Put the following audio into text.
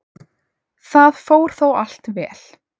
Það fór þó allt vel.